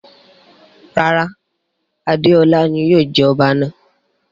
Rara, Adeola ni yóò jẹ ọba náa